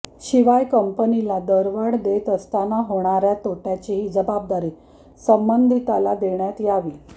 शिवाय कंपनीला दरवाढ देत असताना होणाऱ्या तोट्याची ही जबाबदारी संबंधिताला देण्यात यावी